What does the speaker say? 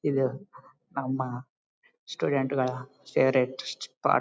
ಇದು ನಮ್ಮ ಸ್ಟೂಡೆಂಟ್ ಗಳ ಫಾವೌರಟೆ ಪಾರ್ಟ್ .